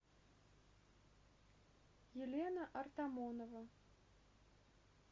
елена артамонова